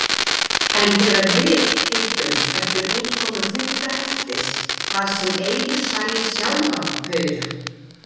En þegar við hittumst eftir útkomu fimmta heftis var sem Eiður sæi sjálfan paura.